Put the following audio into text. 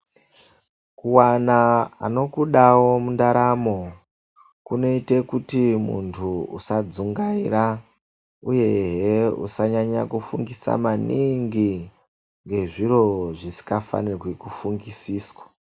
Kuwana anokudawo mundaramo kunoite kuti muntu usadzungaira uyehe usanyanya kufungisisa maningi ngezviro zvisingafanirwi kufungisiswa.